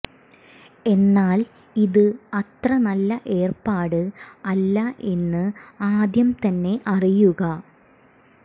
എന്നാൽ ഇത് അത്ര നല്ല ഏർപ്പാട് അല്ല എന്ന് ആദ്യം തന്നെ അറിയുക